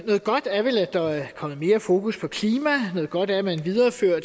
noget godt er vel at der er kommet mere fokus på klima noget godt er at man viderefører